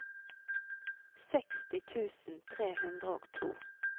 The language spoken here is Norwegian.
seksti tusen tre hundre og to